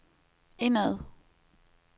indad